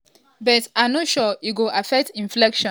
but i no sure e go affect inflation.